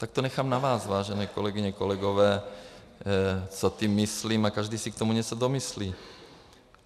Tak to nechám na vás, vážené kolegyně, kolegové, co tím myslím, a každý si k tomu něco domyslí.